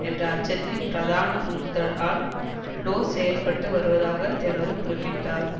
என்ற அச்சத்தின் பிரதான உந்துதலால் புளோஸ் செயல்பட்டு வருவதாக தெமரு குறிப்பிட்டார்